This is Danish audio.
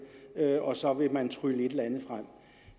og så vil man trylle et